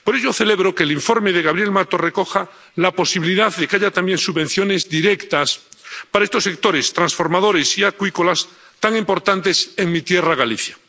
Por ello, celebro que el informe de Gabriel Mato recoja la posibilidad de que haya también subvenciones directas para estos sectores transformadores y acuícolas, tan importantes en mi tierra, Galicia.